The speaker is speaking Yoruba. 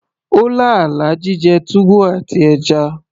ó lá àlá jíjẹ túwó àti ẹja